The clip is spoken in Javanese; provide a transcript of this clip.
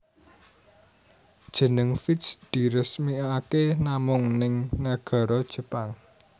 Jeneng Vitz diresmikake namung ning nagara Jepang